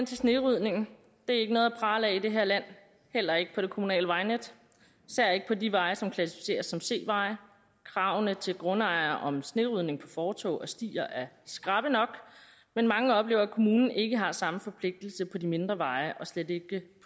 snerydning det er ikke noget at prale af i det her land heller ikke på det kommunale vejnet især ikke på de veje som klassificeres som c veje kravene til grundejere om snerydning på fortove og stier er skrappe nok men mange oplever at kommunen ikke har samme forpligtelse på de mindre veje og slet ikke